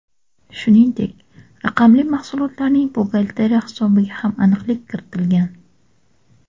Shuningdek, raqamli mahsulotlarning buxgalteriya hisobiga ham aniqlik kiritilgan.